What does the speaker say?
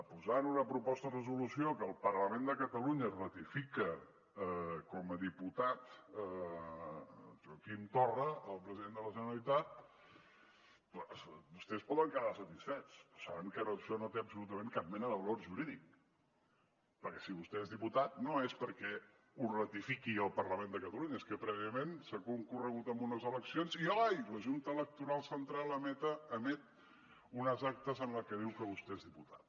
posar en una proposta de resolució que el parlament de catalunya ratifica com a diputat joaquim torra el president de la generalitat vostès poden quedar satisfets però saben que això no té absolutament cap mena de valor jurídic perquè si vostè és diputat no és perquè ho ratifiqui el parlament de catalunya és que prèviament s’ha concorregut en unes eleccions i ai la junta electoral central emet unes actes en què diu que vostè és diputat